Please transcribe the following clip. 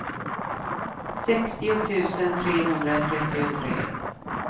sextio tusen trehundratrettiotre